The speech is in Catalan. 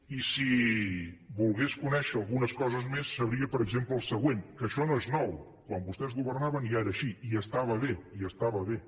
i si volgués conèixer algunes coses més sabria per exemple el següent que això no és nou quan vostès governaven ja era així i estava bé